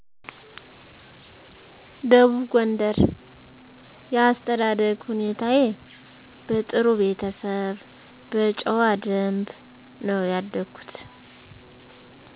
ደቡብ ጎንደር የአስተዳደግ ሁኔታዬ በጥሩ ቤተሰብ በጨዋ ደንብ ነው ያደኩት